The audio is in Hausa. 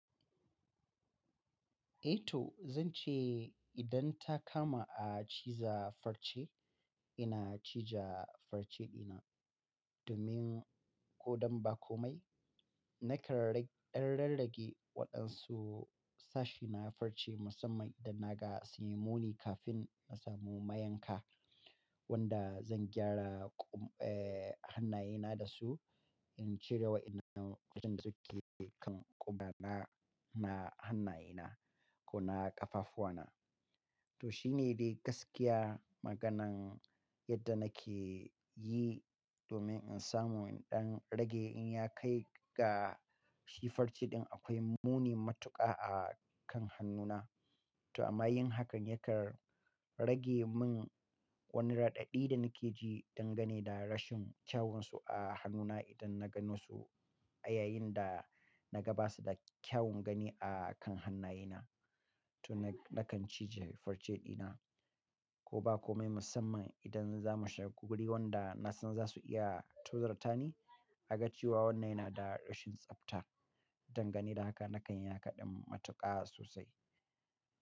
Eh to zan ce idan ta kama a ciza farce, ina cija farce dina domin ko don ba komai. Na kan ɗan rarrage waɗansu sashi na farce musamman idan na ga su yi muni kafin na samu mayanka wanda zan gyara, eh, hannayena da su. In cire wa idan sun sake kan ƙumana na hannayena ko na ƙafafuwana. To shine dai gaskiya maganan yadda nake yi domin in samu ɗan rage in ya kai ga shi farce ɗin akwai muni matuƙa a kan hannuna. To amma yin hakan ya kar rage min wani raɗaɗi da nake ji dangane da rashin kyawun su a hannuna idan na gano su yayin da na ga ba su da kyawun gani a kan hannayena. To na, na kan cije farce dina ko ba komai musamman idan za mu shiga guri wanda na san za su iya tuzurta ni. A ga cewa wannan yana da rashin tsabta dangane da haka nakan yaka ɗin matuƙa sosai.